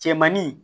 Cɛmanin